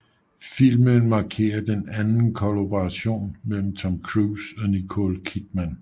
Filmen markerer den anden kollaboration mellem Tom Cruise og Nicole Kidman